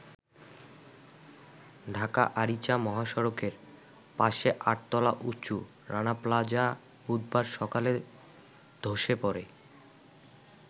ঢাকা-আরিচা মহাসড়কের পাশে আট-তলা উঁচু রানা প্লাজা বুধবার সকালে ধসে পড়ে।